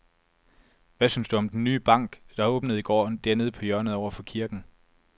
Hvad synes du om den nye bank, der åbnede i går dernede på hjørnet over for kirken?